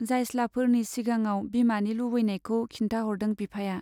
जायस्लाफोरनि सिगाङाव बिमानि लुबैनायखौ खिन्थाहरदों बिफाया।